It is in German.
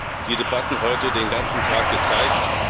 Das haben die Debatten heute den ganzen Tag gezeigt.